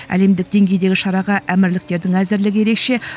әлемдік деңгейдегі шараға әмірліктердің әзірлігі ерекше